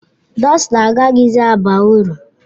Dọsta agaghịzi aba uru.